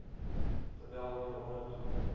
tabel hieronder toon